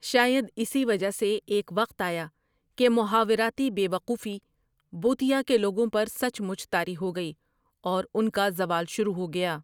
شائد اسی وجہ سے ایک وقت آیا کہ محاوراتی بے وقوفی بوطیا کے لوگوں پر سچ مچ طاری ہو گئی اور ان کا زوال شروع ہو گیا۔